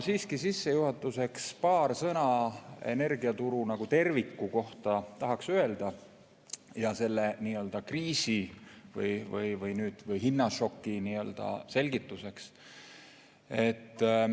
Sissejuhatuseks tahan siiski öelda paar sõna energiaturu kui terviku kohta ja selle nii-öelda kriisi või hinnašoki selgituseks.